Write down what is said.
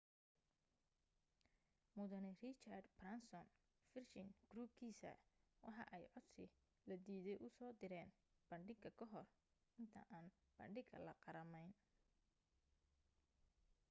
mudane richard branson virgin group-kiisa waxa ay codsi la diiday usoo direyn bangiga kahor inta aan bangiga la qarameyn